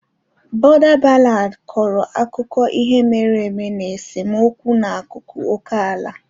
Border ballads kọrọ akụkọ ihe mere eme na esemokwu n'akụkụ oke ala.